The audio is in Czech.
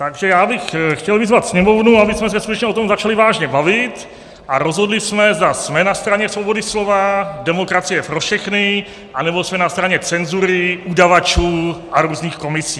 Takže já bych chtěl vyzvat Sněmovnu, abychom se skutečně o tom začali vážně bavit a rozhodli jsme, zda jsem na straně svobody slova, demokracie pro všechny, anebo jsme na straně cenzury, udavačů a různých komisí.